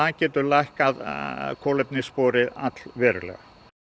getur lækkað kolefnissporið allverulega